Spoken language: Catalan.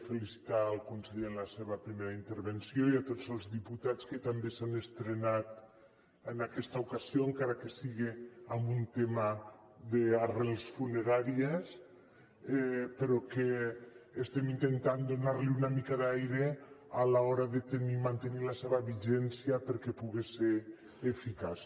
felicitar el conseller en la seva primera intervenció i a tots els diputats que també s’han estrenat en aquesta ocasió encara que siga amb un tema d’arrels funeràries però que estem intentant donar li una mica d’aire a l’hora de tenir i mantenir la seva vigència perquè puga ser eficaç